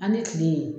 An ni kile